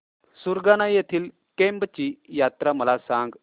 सुरगाणा येथील केम्ब ची यात्रा मला सांग